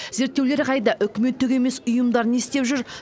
зерттеулер қайда үкіметтік емес ұйымдар не істеп жүр